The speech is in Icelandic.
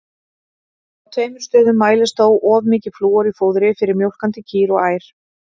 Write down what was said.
Á tveimur stöðum mælist þó of mikið flúor í fóðri fyrir mjólkandi kýr og ær.